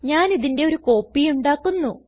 ഞാനിതിന്റെ ഒരു കോപ്പി ഉണ്ടാക്കുന്നു